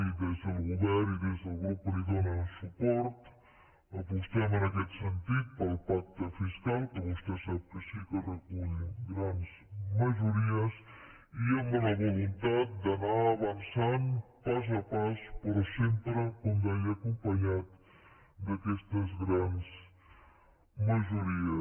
i des del govern i des del grup que li dóna suport apostem en aquest sentit pel pacte fiscal que vostè sap que sí que recull grans majories i amb la voluntat d’anar avançant pas a pas però sempre com deia acompanyat d’aquestes grans majories